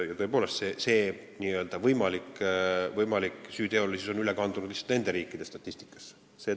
Tõepoolest, see n-ö võimalik süüteolisus on üle kandunud nende riikide statistikasse.